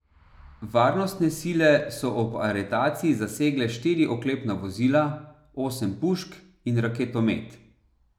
Varnostne sile so ob aretaciji zasegle štiri oklepna vozila, osem pušk in raketomet.